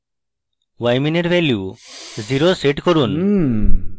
ymin এর value 0 set করুন